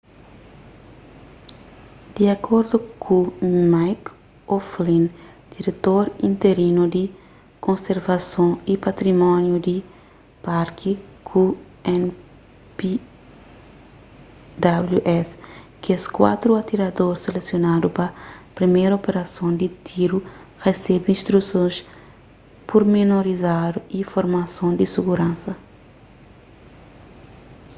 di akordu ku mick o'flynn diretor interinu di konservason y patrimóniu di parki ku npws kes kuatru atirador selesionadu pa priméru operason di tiru resebe instrusons purmenorizadu y formason di siguransa